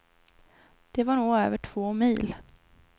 Det var nog över två mil.